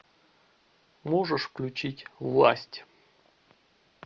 можешь включить власть